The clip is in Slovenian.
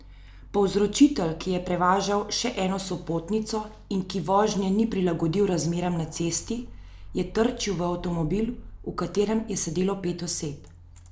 Povzročitelj, ki je prevažal še eno sopotnico in ki vožnje ni prilagodil razmeram na cesti, je trčil v avtomobil, v katerem je sedelo pet oseb.